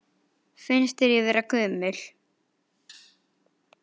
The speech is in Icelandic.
Finnst þér ég vera gömul?